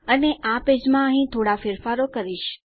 અને આ પેજમાં અહીં થોડા ફેરફારો કરીશ